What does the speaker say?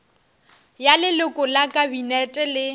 ya leloko la kabinete le